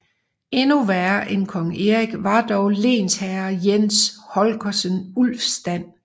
Endnu værre end kong Erik var dog lensherre Jens Holgersen Ulfstand